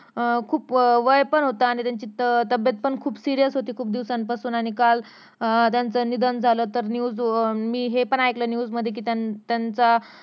अं खूप वय पण होतं आणि त्यांची तब्बेत पण खूप सिरीयस होती खुप दिवसांपासून आणि काल अं त्यांचे निधन झाल तर news अं मी हे पण ऐकले news मध्ये कि त्यांचं त्यांचा